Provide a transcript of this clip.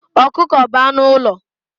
Ọkụkọ bụ anụ ụlọ